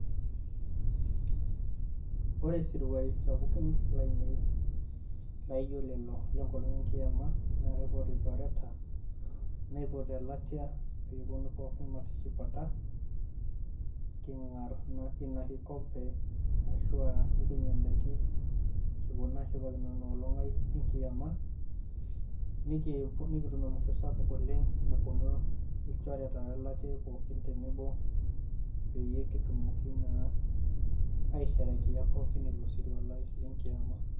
Ore esirwuaii sapuki laainei laijio lelo lengopang' enkiyama naa kaipot ilnchoreta naipot elatia peeponu pooki matishipata king'arr Ina Kikompe ashu nikinya edaiki kipuo naa ashipakino Ina olong' aii enkiyama nikitum amasho SAPUK oleng' naponu ilnchoreta we elatia aii pookin tenebo peyie kitumoki naa aisherkea pookin Ina olong' lenkiyama.